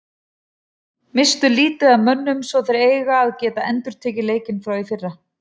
Misstu lítið af mönnum svo þeir eiga að geta endurtekið leikinn frá í fyrra.